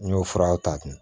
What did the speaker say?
N y'o furaw ta dun